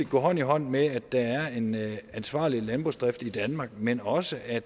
gå hånd i hånd med at der er en ansvarlig landbrugsdrift i danmark men også at